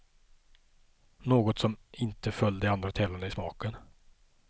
Något som inte föll de andra tävlande i smaken.